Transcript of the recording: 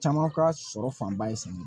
Caman ka sɔrɔ fanba ye sanni ye